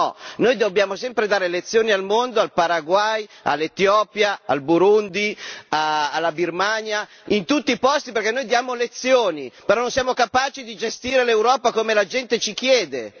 No, noi dobbiamo sempre dare lezioni al mondo, al Paraguay, all'Etiopia, al Burundi, alla Birmania, in tutti i posti, perché noi diamo lezioni, però non siamo capaci di gestire l'Europa come la gente ci chiede!